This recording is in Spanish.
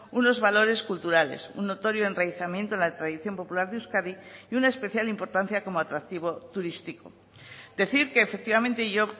unos valores culturales un notorio enraizamiento en la tradición popular de euskadi y una especial importancia como atractivo turístico decir que efectivamente yo